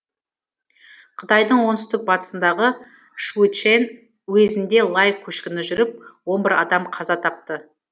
қытайдың оңтүстік батысындағы шуйчэн уезінде лай көшкіні жүріп он бір адам қаза тапты